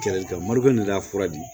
Kɛlɛ mariyafura di